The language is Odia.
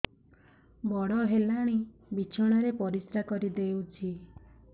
ବଡ଼ ହେଲାଣି ବିଛଣା ରେ ପରିସ୍ରା କରିଦେଉଛି